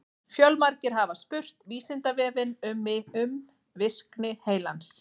Fjölmargir hafa spurt Vísindavefinn um virkni heilans.